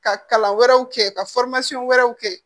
Ka kalan wɛrɛw kɛ ka wɛrɛw kɛ